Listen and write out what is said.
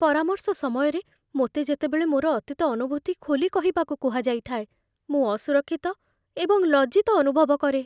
ପରାମର୍ଶ ସମୟରେ, ମୋତେ ଯେତେବେଳେ ମୋର ଅତୀତ ଅନୁଭୂତି ଖୋଲି କହିବାକୁ କୁହାଯାଇଥାଏ, ମୁଁ ଅସୁରକ୍ଷିତ ଏବଂ ଲଜ୍ଜିତ ଅନୁଭବ କରେ।